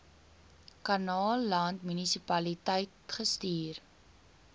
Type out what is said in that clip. kannaland munisipaliteit gestuur